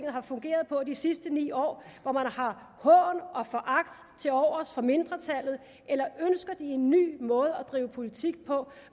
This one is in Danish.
har fungeret på i de sidste ni år hvor man har hån og foragt til overs for mindretallet eller ønsker de en ny måde at drive politik på